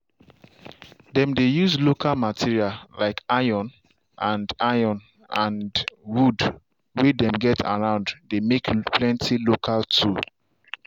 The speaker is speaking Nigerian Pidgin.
dem dey use local material like iron and iron and wood way dem get around dey make plenty local tool.